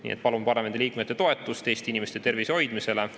Nii et palun parlamendiliikmete toetust Eesti inimeste tervise hoidmisele.